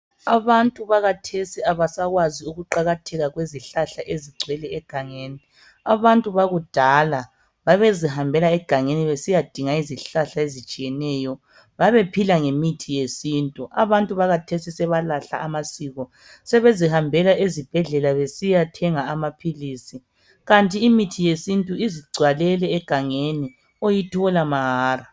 Abantu bakhathesi abasakwazi ukuqakatheka kwezihlahla ezigcwele egangeni. Abantu bakudala babezihambela egangeni besiyadinga izihlahla ezitshiyeneyo. Babephila ngemithi yesintu. Abantu bakhathesi sebalahla amasiko, sebezihambela ezibhedlela besiyathenga amaphilisi. Kanti imithi yesintu izigcwalele egangeni, oyithola mahara.